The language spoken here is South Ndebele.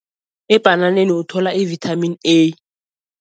Ebhananeni uthola i-Vitamin A.